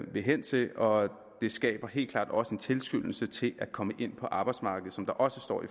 vil hen til og det skaber helt klart også en tilskyndelse til at komme ind på arbejdsmarkedet som der også står